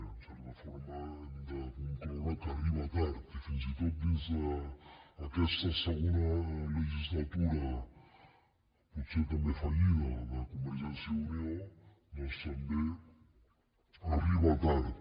en certa forma hem de concloure que arriba tard i fins i tot dins d’aquesta segona legislatura potser també fallida de convergència i unió també arriba tard